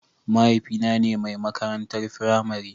Mahaifina ne mai makarantar firamare.